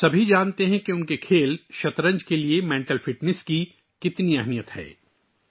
ہم سب جانتے ہیں کہ ہمارے 'شطرنج'کھیل کے لیے ذہنی فٹنس کتنی اہم ہے